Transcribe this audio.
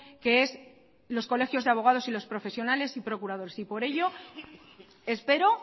que es los colegios de abogados y los profesionales y procuradores y por ello espero